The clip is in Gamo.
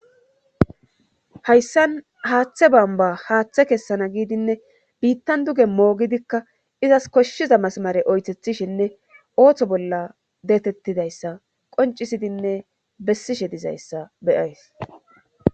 hayssan haaththe bamba haaththe kessana giidinne biittan duge moogidikka izas koshshiza masmare oythethishinne ooththo bolla deetettidayssa qoncisidinne bessishe dizayssa beyays